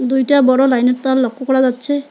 দুইটা বড় লাইন -এর তার লক্ষ করা যাচ্ছে।